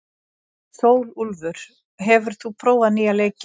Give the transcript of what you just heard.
Sólúlfur, hefur þú prófað nýja leikinn?